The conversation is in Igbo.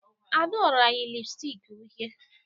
Adaora yi lipstick uhie